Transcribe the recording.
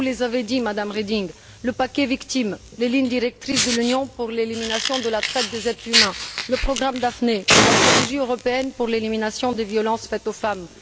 Vous les avez cités, Mme Reding le paquet victimes, les lignes directrices de l'Union pour l'élimination de la traite des êtres humains, le programme Daphné, la stratégie européenne pour l'élimination des violences faites aux femmes.